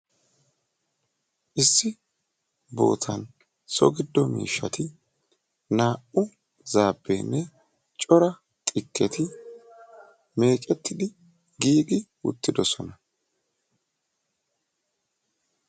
issi sohuwani so giddo miishati hegetikka zaabe ne xikketi meecettidi giigidageti beettosona.